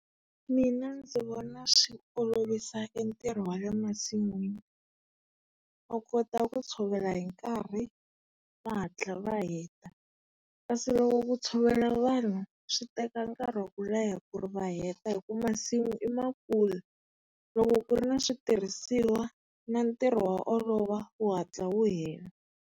Mina ndzi vona swi olovisa e ntirho wa le masin'wini. U kota ku tshovela hi nkarhi, va hatla va heta. Kasi loko ku tshovela vanhu swi teka nkarhi wa ku leha ku ri va heta hi ku masimu i makulu. Loko ku ri na switirhisiwa, na ntirho wa olova, wu hatla wu hela.